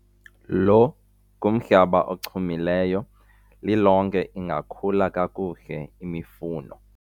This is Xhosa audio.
lo ngumhlaba ochumileyo, lilonke ingakhula kakuhle imifuno